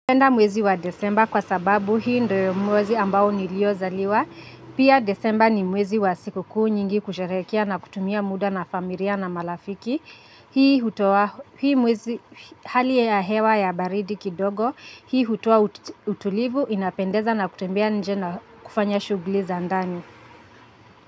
Penda mwezi wa Desemba kwa sababu hii ndo mwezi ambao niliozaliwa. Pia Desemba ni mwezi wa siku kuu nyingi kusharehekea na kutumia muda na familia na malafiki. Hii hutoa, hii mwezi hali ya hewa ya baridi kidogo, hii hutoa utulivu, inapendeza na kutembea nje na kufanya shugli za ndani.